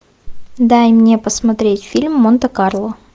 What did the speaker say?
дай мне посмотреть фильм монте карло